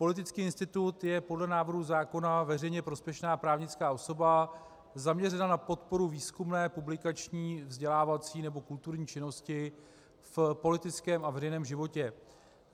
Politický institut je podle návrhu zákona veřejně prospěšná právnická osoba zaměřená na podporu výzkumné, publikační, vzdělávací nebo kulturní činnosti v politickém a veřejném životě.